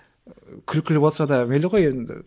ы күлкілі болса да мейлі ғой енді